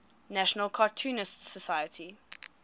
national cartoonists society